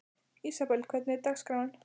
Ísabel, hvernig er dagskráin?